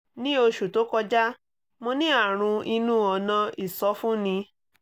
ní oṣù tó kọjá mo ní àrùn inú ọ̀nà ìsọfúnni